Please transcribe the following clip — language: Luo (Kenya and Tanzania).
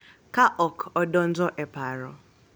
Ka ok odonjo e paro.